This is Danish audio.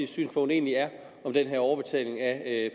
synspunkt egentlig er om den her overbetaling af